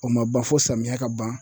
O ma ban fo samiyɛ ka ban